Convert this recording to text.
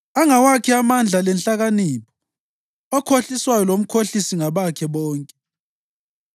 Angawakhe amandla lenhlakanipho; okhohliswayo lomkhohlisi ngabakhe bonke.